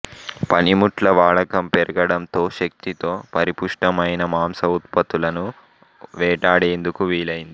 పనిముట్ల వాడకం పెరగడంతో శక్తితో పరిపుష్టమైన మాంస ఉత్పత్తులను వేటాడేందుకు వీలైంది